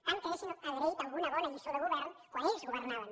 tant que hauríem agraït alguna bona lliçó de govern quan ells governaven